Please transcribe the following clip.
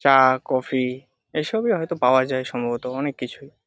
চা কফি এসবই হয়তো পাওয়া যায় সম্ভবত অনেককিছুই।